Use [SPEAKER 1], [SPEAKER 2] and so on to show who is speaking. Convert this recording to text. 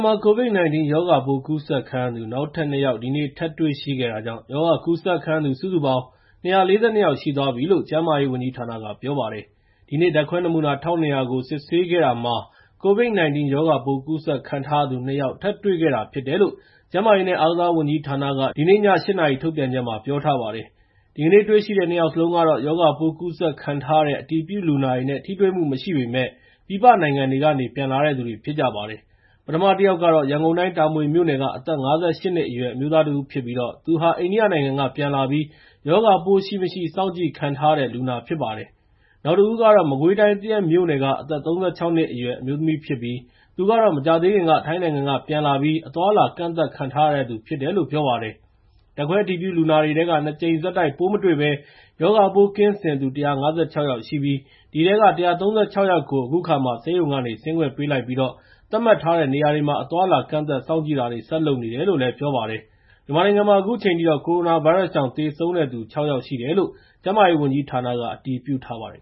[SPEAKER 1] မှာ COVID-19 ရောဂါပိုး ကူးစက်ခံရသူ နောက်ထပ် ၂ ယောက် ဒီနေ့ ထပ်တွေ့ရှိခဲ့တာကြောင့် ရောဂါကူးစက်ခံရသူ စုစုပေါင်း ၂၄၂ ယောက် ရှိသွားပြီလို့ ကျန်းမာရေးဝန်ကြီးဌာနက ပြောပါတယ်။ ဒီနေ့ ဓာတ်ခွဲနမူနာ ၁,၂၀၀ ကို စစ်ဆေးခဲ့တာမှာ COVID-19 ရောဂါပိုး ကူးစက်ခံထားရသူ ၂ ယောက် ထပ်တွေ့ခဲ့တာဖြစ်တယ်လို့ ကျန်းမာရေးနဲ့ အားကစားဝန်ကြီးဌာနက ဒီနေ့ည ၈ နာရီ ထုတ်ပြန်ချက်မှာ ပြောထားပါတယ်။ ဒီကနေ့တွေ့ရှိတဲ့ ၂ ယောက်စလုံးကတော့ ရောဂါပိုး ကူးစက်ခံထားရတဲ့ အတည်ပြုလူနာတွေနဲ့ ထိတွေ့မှုမရှိပေမယ့် ပြည်ပနိုင်ငံတွေကနေ ပြန်လာတဲ့သူတွေ ဖြစ်ကြပါတယ်။ ပထမတယောက်ကတော့ ရန်ကုန်တိုင်း တာမွေမြို့နယ်က အသက် ၅၈ နှစ်အရွယ် အမျိုးသားတဦးဖြစ်ပြီး သူဟာ အိန္ဒိယနိုင်ငံကနေ ပြန်လာပြီး ရောဂါပိုးရှိမရှိ စောင့်ကြည့်ခံထားရတဲ့လူနာ ဖြစ်ပါတယ်။ နောက်တဦးကတော့ မကွေးတိုင်း သရက်မြို့နယ်က အသက် ၃၆ နှစ်အရွယ် အမျိုးသမီးဖြစ်ပြီး သူကတော့ မကြာသေးခင်က ထိုင်းနိုင်ငံကနေ ပြန်လာပြီး အသွားအလာ ကန့်သတ်ခံထားရတဲ့သူ ဖြစ်တယ်လို့ ပြောပါတယ်။ ဓာတ်ခွဲအတည်ပြုလူနာတွေထဲက ၂ ကြိမ်ဆက်တိုက် ပိုးမတွေ့ဘဲ ရောဂါပိုးကင်းစင်သူ ၁၅၆ ယောက်ရှိပြီး အဲဒီထဲက ၁၃၆ ယောက်ကို ဆေးရုံဆင်းခွင့် ပေးလိုက်ပြီးတော့ သတ်မှတ်ထားတဲ့ နေရာတွေမှာ အသွားအလာ ကန့်သတ်စောင့်ကြည့်တာတွေ ဆက်လုပ်နေတယ်လို့ ပြောပါတယ်။ မြန်မာနိုင်ငံမှာ အခုချိန်ထိတော့ ကိုရိုနာဗိုင်းရပ်စ်ကြောင့် သေဆုံးတဲ့သူ ၆ ယောက်ရှိတယ်လို့ ကျန်းမာရေးဝန်ကြီးဌာနက အတည်ပြုထားပါတယ်